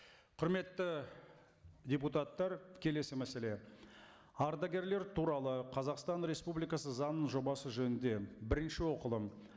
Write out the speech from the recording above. құрметті депутаттар келесі мәселе ардагерлер туралы қазақстан республикасы заңының жобасы жөнінде бірінші оқылым